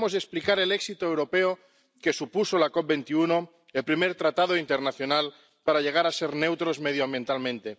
Debemos explicar el éxito europeo que supuso la COP 21, el primer tratado internacional para llegar a ser neutros medioambientalmente.